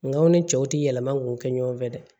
Nga aw ni cɛw tɛ yɛlɛma k'u kɛ ɲɔgɔn fɛ dɛ